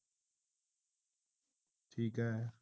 ਠੀਕ ਆ